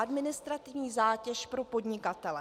Administrativní zátěž pro podnikatele.